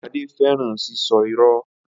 Ade fẹran sisọ irọ.